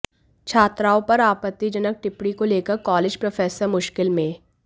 छात्राओं पर आपत्तिजनक टिप्पणी को लेकर कॉलेज प्रोफेसर मुश्किल में